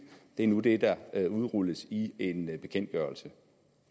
det er nu det der udrulles i en bekendtgørelse